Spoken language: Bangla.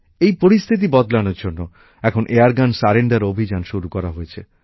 এই পরিস্থিতি বদলানোর জন্য এখন এয়ারগান সারেন্ডার অভিযান শুরু করা হয়েছে